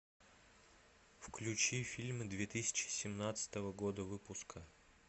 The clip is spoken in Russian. включи фильмы две тысячи семнадцатого года выпуска